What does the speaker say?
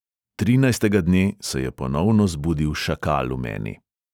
Trinajstega dne se je ponovno zbudil šakal v meni.